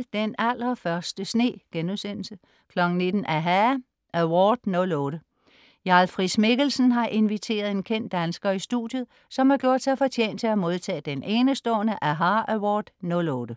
17.30 Den allerførste sne* 19.00 aHA! Award '08. Jarl Friis-Mikkelsen har inviteret en kendt dansker i studiet, som har gjort sig fortjent til at modtage den enestående aHA! Award '08